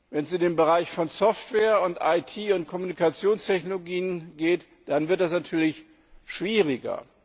Wenn es um den Bereich von Software und IT und Kommunikationstechnologien geht, dann wird das natürlich schwieriger.